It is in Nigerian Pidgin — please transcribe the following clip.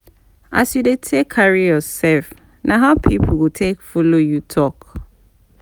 As you dey take carry yourself na how pipo go take follow you talk